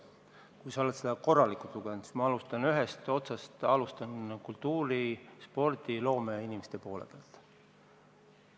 Kui sa oled seda korralikult lugenud, siis ma alustan ühest otsast: alustan kultuuri-, spordi- ja loomeinimeste poole pealt.